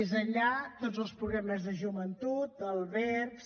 més enllà tots els programes de joventut albergs